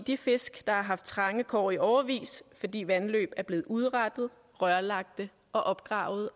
de fisk der har haft trange kår i årevis fordi vandløb er blevet udrettet rørlagt og opgravet